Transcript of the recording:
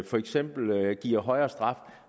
for eksempel giver en højere straf